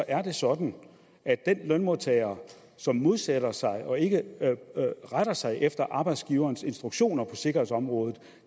er det sådan at den lønmodtager som modsætter sig og ikke retter sig efter arbejdsgiverens instruktioner på sikkerhedsområdet